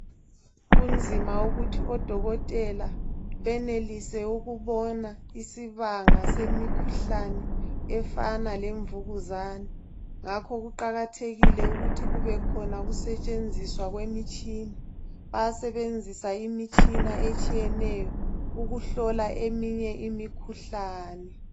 Kunzima ukuthi odokotela benelise ukubona isibanga semkhuhlane efana lemvukuzane ,ngakho kuqakathekile ukuthi kube khona ukusetshenziswa kwemitshina. Bayasebenzisa imitshina etshiyeneyo ukuhlola eminye imikhuhlane.